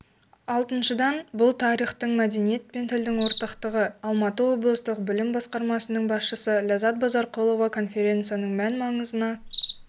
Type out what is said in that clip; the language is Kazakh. алтыншыдан бұл тарихтың мәдениет пен тілдің ортақтығы алматы облыстық білім басқармасының басшысы ләззат базарқұлова конференцияның мән-маңызына